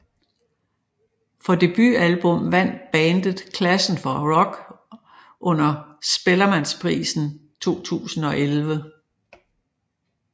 For debutalbum vandt bandet klassen for rock under Spellemannsprisen 2011